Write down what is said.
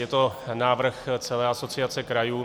Je to návrh celé Asociace krajů.